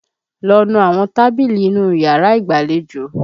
Lọ nu àwọn tábìlì inú yàrá ìgbàlejò!